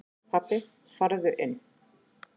Pabbi farðu inn!